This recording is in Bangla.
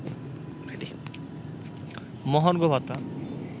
মহার্ঘ ভাতা